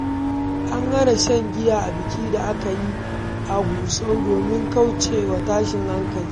An hana shan giya a bikin da aka yi a Gusau domin kauce wa tashin hankali.